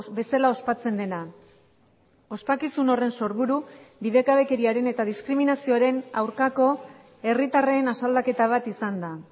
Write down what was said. bezala ospatzen dena ospakizun horren sorburu bidegabekeriaren eta diskriminazioaren aurkako herritarren asaldaketa bat izan da